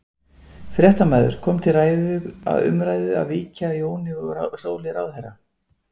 Fréttamaður: Kom til ræðu, umræðu að víkja Jóni úr stóli ráðherra?